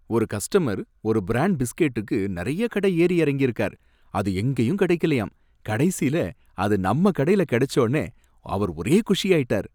ஒரு கஸ்டமர் ஒரு பிரான்ட் பிஸ்கட்டுக்கு நிறைய கடை எறி இறங்கியிருக்கார், அது எங்கயும் கிடைக்கலயாம், கடைசியில அது நம்ம கடைல கிடைச்சோனே அவர் ஒரே குஷியாயிட்டார்.